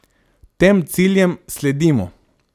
Tem ciljem sledimo.